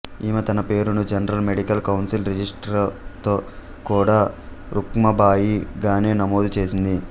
ఈమె తన పేరును జనరల్ మెడికల్ కౌన్సిల్ రిజిస్ట్రార్తో కూడా రుఖ్మాబాయి గానే నమోదు చేసింది